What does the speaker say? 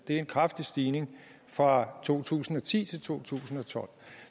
det er en kraftig stigning i fra to tusind og ti til to tusind og tolv